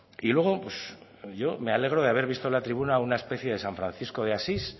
y luego pues yo me alegro de haber visto la tribuna una especie de san francisco de asís